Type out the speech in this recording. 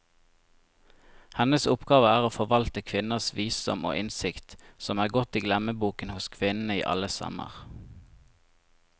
Hennes oppgave er å forvalte kvinners visdom og innsikt, som er gått i glemmeboken hos kvinnene i alle stammer.